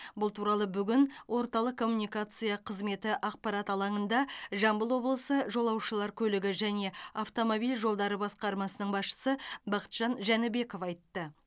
бұл туралы бүгін орталық коммуникация қызметі ақпарат алаңында жамбыл облысы жолаушылар көлігі және автомобиль жолдары басқармасының басшысы бақытжан жәнібеков айтты